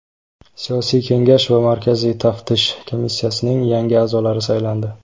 Siyosiy Kengash va Markaziy Taftish komissiyasining yangi a’zolari saylandi.